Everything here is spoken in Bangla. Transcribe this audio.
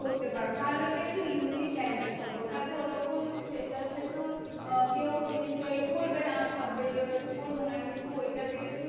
করতে পারো। তাহলে ওটা একটু unique type এর হবে। ওটাতে ওরকম freshers এ তো আহ কেউ নিশ্চই করবে না। ভাববে যে ওটা তে করবো না। কিন্তু ওটাতে একটু